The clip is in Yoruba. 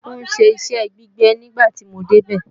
Ó ń ṣe iṣẹ́ gbígbẹ nígbà tí mo débẹ̀